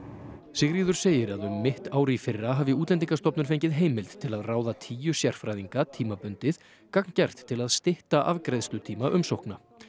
Sigríður segir að um mitt ár í fyrra hafi Útlendingastofnun fengið heimild til að ráða tíu sérfræðinga tímabundið gagngert til að stytta afgreiðslutíma umsókna